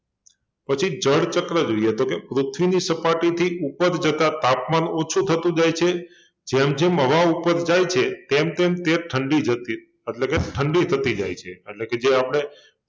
પછી જળચક્ર જોઈએ તો કે પૃથ્વીની સપાટીથી ઉપર જતાં તાપમાન ઓછું થતુ જાય છે જેમ જેમ હવા ઉપર જાય છે તેમ તેમ તે ઠંડી જતી એટલે કે ઠંડી થતી જાય છે એટલે કે જે આપડે